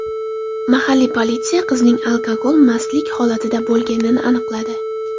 Mahalliy politsiya qizning alkogol mastlik holatida bo‘lganini aniqladi.